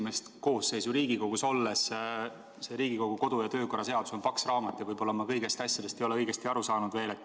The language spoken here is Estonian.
Olen esimest koosseisu Riigikogus, see Riigikogu kodu- ja töökorra seadus on paks raamat ja võib-olla ma pole veel kõigist asjadest õigesti aru saanud.